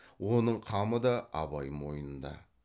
оның қамы да абай мойнында